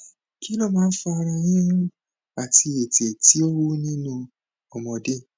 kí ló máa ń fa ara yiyun àti ètè tí ó wú nínú ọmọdé